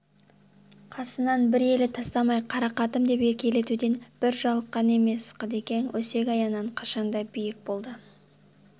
қасынан бір елі тастамай қарақатым деп еркелетуден бір жалыққан емес қыдекең өсек-аяңнан қашанда биік болды